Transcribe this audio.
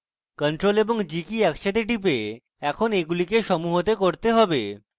ctrl + g keys একসাথে টিপে আমরা এখন এগুলিকে সমূহতে করতে পারি